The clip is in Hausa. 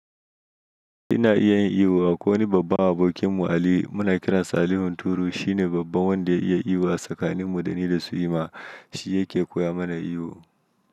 Ina iya yin iyo. Akwai wani babban abokinmu Ali. Muna kiransa Ali hunturu. Shine babban wanda ya iya iyo. Tsakaninmu, da ni da su, Iman shi yake koya mana iyo.